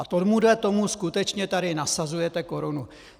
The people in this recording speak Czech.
A tomuhle tomu skutečně tady nasazujete korunu!